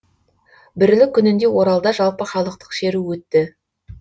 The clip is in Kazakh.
бірлік күнінде оралда жалпыхалықтық шеру өтті